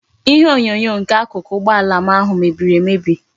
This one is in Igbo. Ihe onyonyo nke akuku ugbo ala m ahu mebiri emebi